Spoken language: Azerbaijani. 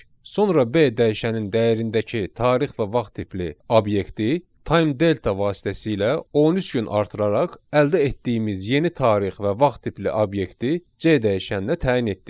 Sonra B dəyişənin dəyərindəki tarix və vaxt tipli obyekti time delta vasitəsilə 13 gün artıraraq əldə etdiyimiz yeni tarix və vaxt tipli obyekti C dəyişəninə təyin etdik.